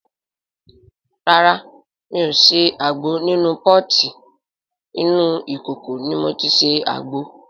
Rárá mi ò ṣe àgbo nínú pọ́ọ̀tì, inú ìkòkò ni mo ti ṣe àgbo.